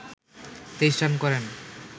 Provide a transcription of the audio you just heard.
২৩ run করেন